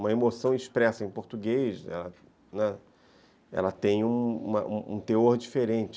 Uma emoção expressa em português tem um teor diferente.